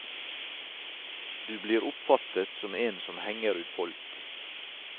Du blir oppfattet som en som henger ut folk.